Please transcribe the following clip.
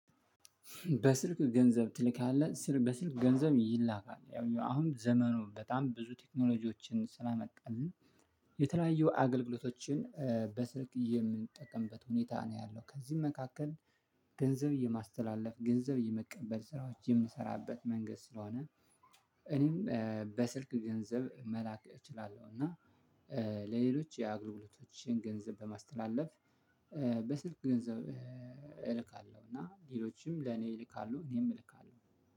በስልክ ገንዘብ ትልካለህ ስል በስልክ ገንዘብ ይላካል ያው አሁን ዘመኑን በጣም ብዙ ቴክኖሎጂዎችን ስላመጣልን የተለያዩ አገልግሎቶችን በስልክ የምንጠቀምበት ሁኔታ ነው ያለው። ከነዚህም መካከል ገንዘብ የማስተላለፍ ገንዘብ የመቀበል ስራዎችን የምንሰራበት መንገድ ስለሆነ። እኔም በስልክ ገንዘብ መላክ እችላለሁ እና ለሌሎች አግርግሎቶችን ገንዘብ በማስተላለፍ በስልክ ገንዘብ እልካለሁ። እና ሌሎችም ለእኔ ይልካሉ እኔም እልካለሁ።